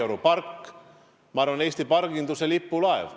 Kadrioru park, ma arvan, on Eesti parginduse lipulaev.